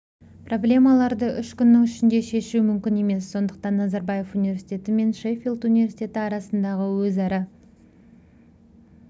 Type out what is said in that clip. проблемаларды үш күннің ішінде шешу мүмкін емес сондықтан назарбаев университеті мен шеффилд университеті арасындағы өзара